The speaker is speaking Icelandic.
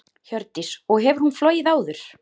Hjördís: Og hefur hún flogið áður?